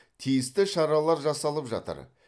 тиісті шаралар жасалып жатыр